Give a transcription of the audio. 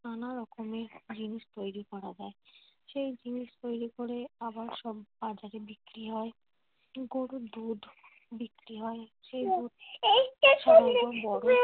নানা রকমের জিনিস তৈরি করা যায়। সেই জিনিস তৈরি করে আবার সব বাজারে বিক্রি হয়। গরুর দুধ বিক্রি হয় সেই দুধ